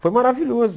Foi maravilhoso.